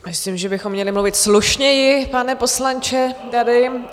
Myslím, že bychom měli mluvit slušněji, pane poslanče, tady.